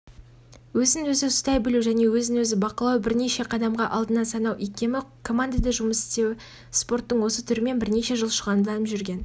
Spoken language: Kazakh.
өзін-өзі ұстай білуі және өзін-өзі бақылауы бірнеше қадамға алдына санау икемі командада жұмыс істеуі спорттың осы түрімен бірнеше жыл шұғылданып жүрген